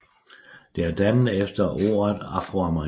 Det er dannet efter ordet afroamerikaner